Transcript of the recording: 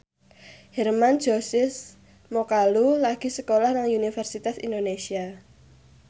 Hermann Josis Mokalu lagi sekolah nang Universitas Indonesia